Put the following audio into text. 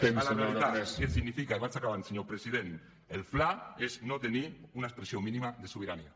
tornar a la realitat que significa i vaig acabant senyor president el fla és no tenir una expressió mínima de sobirania